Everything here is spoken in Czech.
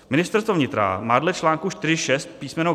Ministerstvo vnitra má dle článku 4.6 písm.